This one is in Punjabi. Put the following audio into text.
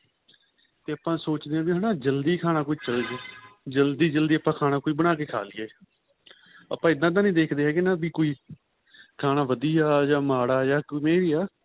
ਤੇ ਆਪਾਂ ਸੋਚਦੇ ਹਾਂ ਹੈਨਾ ਵੀ ਜਲਦੀ ਜਲਦੀ ਜਲਦੀ ਆਪਾਂ ਖਾਨਾਂ ਕੋਈ ਬਣਾਕੇ ਖਾਂ ਲਈਏ ਆਪਾਂ ਇਹਦਾ ਤਾਂ ਨਹੀਂ ਦੇਖਦੇ ਹੈਗੇ ਵੀ ਕੋਈ ਖਾਨਾਂ ਵਧੀਆ ਯਾ ਮਾੜਾ ਯਾ ਕਿਵੇਂ ਵੀ ਏ